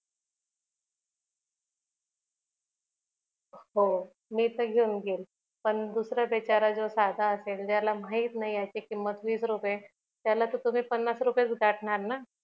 हो मी तर घेऊन जाईल पण दुसरा बिचारा जो साधा असेल ज्याला माहित नाही याची किंमत वीस रुपये त्याला तर तुम्ही पन्नास रुपयेच गाठणार ना